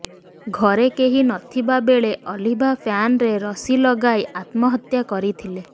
ଘରେ କେହି ନଥିବା ବେଳେ ଅଲିଭା ଫ୍ୟାନ୍ରେ ରଶି ଲଗାଇ ଆତ୍ମହତ୍ୟା କରିଥିଲେ